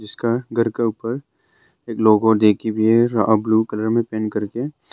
उसका घर का ऊपर एक लोगो देखी हुई है अह ब्लू कलर में पेंट करके।